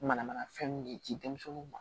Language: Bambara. Mana mana fɛn min di denmisɛnnuw ma